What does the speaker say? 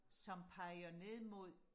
som peger ned mod